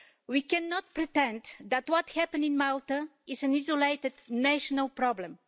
We cannot pretend that what happened in Malta is an isolated national problem.